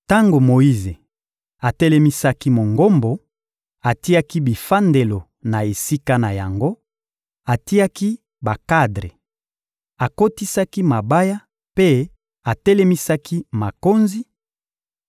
Tango Moyize atelemisaki Mongombo, atiaki bivandelo na esika na yango, atiaki bakadre, akotisaki mabaya mpe atelemisaki makonzi;